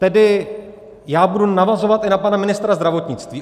Tedy já budu navazovat i na pana ministra zdravotnictví.